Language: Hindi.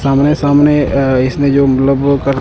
सामने सामने अह इसमें जो मतलब वो कर--